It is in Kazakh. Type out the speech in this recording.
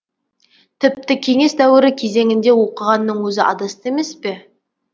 тіпті кеңес дәуірі кезеңінде оқығанның өзі адасты емес пе